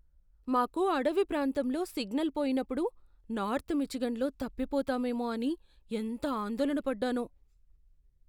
మాకు అడవి ప్రాంతంలో సిగ్నల్ పోయినప్పుడు నార్త్ మిచిగన్లో తప్పిపోతామేమో అని ఎంత ఆందోళన పడ్డానో!